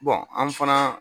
an fana